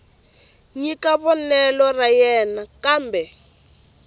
nyika vonelo ra yena kambe